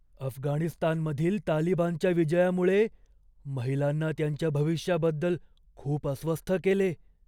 अफगाणिस्तानमधील तालिबानच्या विजयामुळे महिलांना त्यांच्या भविष्याबद्दल खूप अस्वस्थ केले.